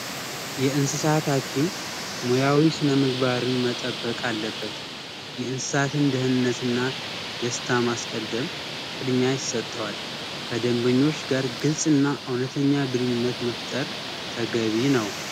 የእንሰሳት ሀኪም ሙያዊ ስነምግባርን መጠበቅ አለበት። የእንስሳት ደህንነት እና ደስታ ማስቀደም ቅድሚሚ ይሰጠዋ ከደንበኞች ጋር ግልጽ እና እውነተኛ ግንኙነት መፍጠር ተገቢ ነው።